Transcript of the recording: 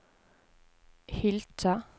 Hylkje